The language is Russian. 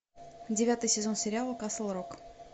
девятый сезон сериала касл рок